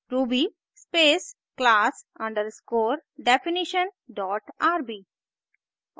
ruby space class underscore definition dot rb